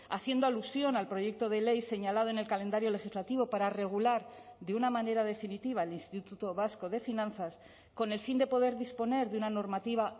haciendo alusión al proyecto de ley señalado en el calendario legislativo para regular de una manera definitiva el instituto vasco de finanzas con el fin de poder disponer de una normativa